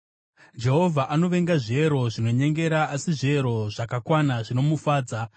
Jehovha anovenga zviero zvinonyengera, asi zviero zvakakwana zvinomufadza.